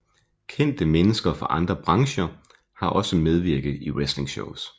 Kendte mennesker fra andre brancher har også medvirket i wrestlingshows